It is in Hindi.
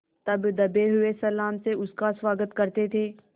तब दबे हुए सलाम से उसका स्वागत करते थे